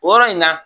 O yɔrɔ in na